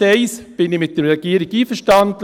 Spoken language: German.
In Punkt 1 bin ich mit der Regierung einverstanden: